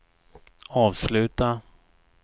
avsluta